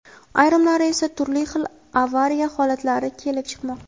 ayrimlari esa turli xil avariya holatlari kelib chiqmoqda.